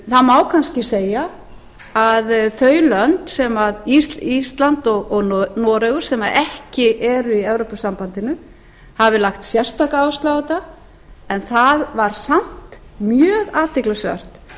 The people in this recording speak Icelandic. þá má kannski segja að þau lönd ísland og noregur sem ekki eru í evrópusambandinu hafi lagt sérstaka áherslu á þetta en það var samt mjög athyglisvert